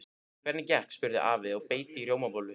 Hvernig gekk? spurði afi og beit í rjómabollu.